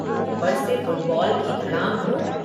ऊपर से फुटबॉ़ल की धड़ाम धूं।